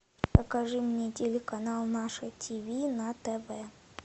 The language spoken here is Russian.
покажи мне телеканал наше ти ви на тв